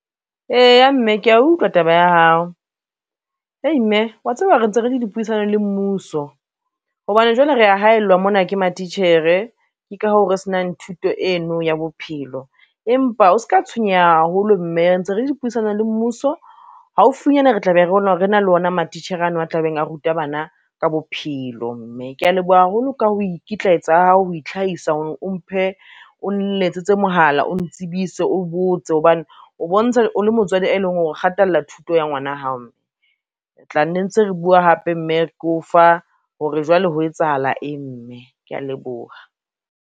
Eya mme kea utlwa taba ya hao, hei mme wa tseba re ntse re le dipuisano le mmuso, hobane jwale re ya haellwa mona ke matitjhere ke ka hoo re senang thuto eno ya bophelo. Empa o ska tshwenyeha haholo mme re ntse re dipuisano le mmuso, haufinyana re tla be re re na le ona matitjhere ano a tlabeng a ruta bana ka bophelo mme. Kea leboha haholo ka ho ikitlaetsa ha hao, ho itlhahisa hore o nletsetse mohala, o ntsebise o botse hobane o bontsha o le motswadi, e leng hore o kgathalla thuto ya ngwana ya hao, mme re tla nne ntse re bua hape mme ke o fa hore jwale ho etsahala eng mme. Kea leboha.